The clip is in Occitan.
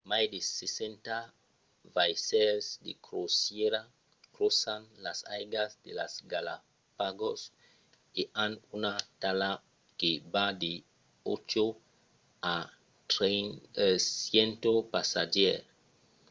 mai de 60 vaissèls de crosièra crosan las aigas de las galápagos - e an una talha que va de 8 a 100 passatgièrs